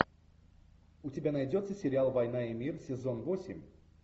у тебя найдется сериал война и мир сезон восемь